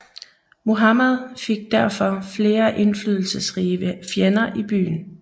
Muhammad fik derfor flere indflydelsesrige fjender i byen